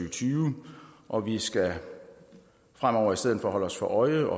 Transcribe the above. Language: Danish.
og tyve og vi skal fremover i stedet for holde os for øje